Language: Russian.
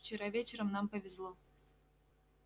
вчера вечером нам повезло